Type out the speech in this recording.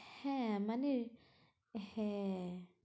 হ্যাঁ মনে হ্যাঁ